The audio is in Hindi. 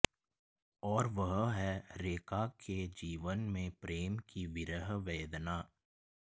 और वह है रेखा के जीवन में प्रेम की विरह वेदना